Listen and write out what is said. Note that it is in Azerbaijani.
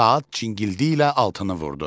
Saat cinkilti ilə altını vurdu.